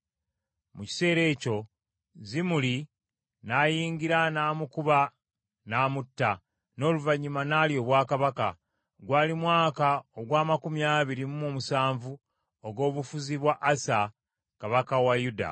Mu kiseera ekyo, Zimuli n’ayingira n’amukuba n’amutta, n’oluvannyuma n’alya obwakabaka. Gwali mwaka ogw’amakumi abiri mu omusanvu ogw’obufuzi bwa Asa kabaka wa Yuda.